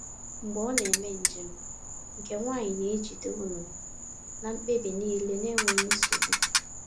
Mgbe ọ na-eme njem, nke nwanyị na-ejide ụlọ na mkpebi niile n’enweghị nsogbu.